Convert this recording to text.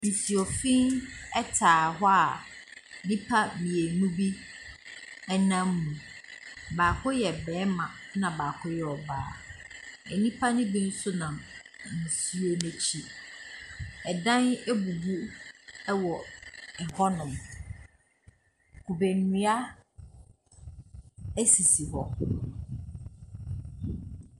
Nsuo fiin ɛtaa hɔ a nipa mienu bi ɛnam mu. Baako yɛ bɛɛma ɛna baako yɛ ɔbaa. Ɛnipa no bi so nam nsuo no ekyi. Ɛdan ebubu ɛwɔ ɛhɔ nom. Kube ndua esisi hɔ.